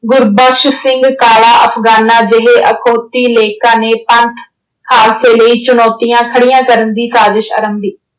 ਗੁਰਬਖਸ਼ ਸਿੰਘ ਕਾਲਾ ਅਫ਼ਗਾਨਾਂ ਜਿਹੇ ਅਖੌਤੀ ਲੇਖਕਾਂ ਨੇ ਪੰਥ ਹਾਦਸੇ ਲਈ ਚੁਣੌਤੀਆਂ ਖੜੀਆਂ ਕਰਨ ਦੀ ਸਾਜਿਸ਼ ਅਰੰਭੀ।